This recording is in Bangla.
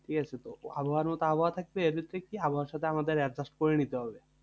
ঠিকাছে? তো আবহাওয়ার মতো আবহাওয়া থাকছে, এবার দেখছি আবহাওয়ার সাথে আমাদের adjust করে নিতে হবে।